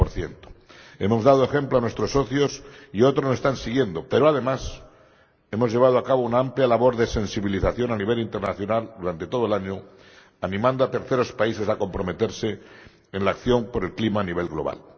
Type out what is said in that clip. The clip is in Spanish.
40 Hemos dado ejemplo a nuestros socios y otros nos están siguiendo, pero, además, hemos llevado a cabo una amplia labor de sensibilización a nivel internacional durante todo el año, animando a terceros países a comprometerse en la acción por el clima a nivel global.